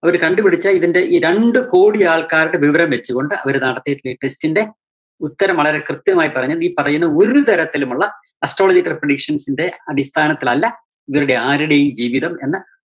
അവര് കണ്ടുപിടിച്ച ഇതിന്റെ ഈ രണ്ടു കോടി ആള്‍ക്കാരുടെ വിവരം വെച്ചുകൊണ്ട് അവര് നടത്തിയിട്ടിള്ള ഈ test ന്റെ ഉത്തരം വളരെ കൃത്യമായി പറഞ്ഞാല്‍ ഈ പറയുന്ന ഒരു തരത്തിലുമുള്ള astrological predictions ന്റെ അടിസ്ഥാനത്തിലല്ല ഇവരുടെ ആരുടേയും ജീവിതം എന്ന്